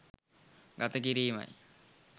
ගත කිරීමයි.